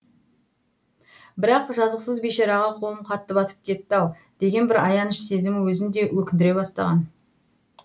бірақ жазықсыз бейшараға қолым қатты батып кетті ау деген бір аяныш сезімі өзін де өкіндіре бастаған